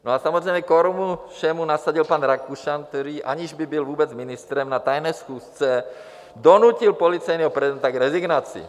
No a samozřejmě korunu všemu nasadil pan Rakušan, který, aniž by byl vůbec ministrem, na tajné schůzce donutil policejního prezidenta k rezignaci.